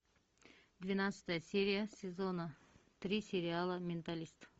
двенадцатая серия сезона три сериала менталист